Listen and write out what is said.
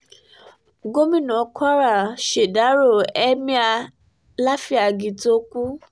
gomina kwara ṣèdàrọ emir láfíàgì tó kù